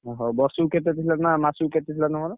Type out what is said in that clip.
ଓହ! ବର୍ଷୁକୁ କେତେ ଥିଲା ନା ମାସୁକୁ କେତେ ଥିଲା ତମର?